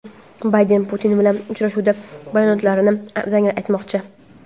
Bayden Putin bilan uchrashuvda bayonotlarini dangal aytmoqchi.